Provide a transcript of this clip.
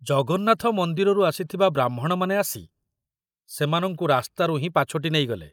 ଜଗନ୍ନାଥ ମନ୍ଦିରରୁ ଆସିଥିବା ବ୍ରାହ୍ମଣମାନେ ଆସି ସେମାନଙ୍କୁ ରାସ୍ତାରୁ ହିଁ ପାଛୋଟି ନେଇଗଲେ।